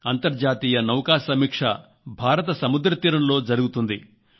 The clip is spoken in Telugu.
అంతర్జాతీయ నౌకా సమీక్ష భారత సముద్ర తీరంలో జరుగుతుంది